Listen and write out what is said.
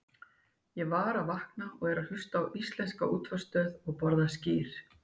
Ég var að vakna og er að hlusta á íslenska útvarpsstöð og borða skyr.